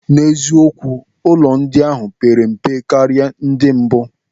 N'eziokwu, ụlọ ndị ahụ pere mpe karịa ndị mbụ.